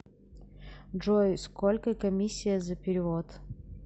джой сколько комиссия за перевод